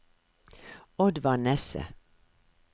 Oddvar Nesse